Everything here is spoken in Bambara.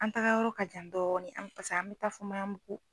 An taga yɔrɔ ka jan dɔɔni an paseke an bɛ taa fɔ Maɲanbugu.